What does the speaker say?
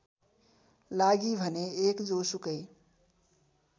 लागि भने १ जोसुकै